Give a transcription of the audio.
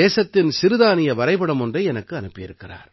தேசத்தின் சிறுதானிய வரைபடம் ஒன்றை எனக்கு அனுப்பி இருக்கிறார்